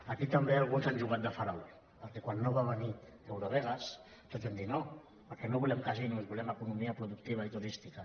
aquí també alguns han jugat de farol perquè quan no va venir eurovegas tots vam dir no perquè no volem casinos volem economia productiva i turística